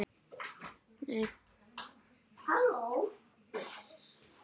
Mér fannst það aldrei!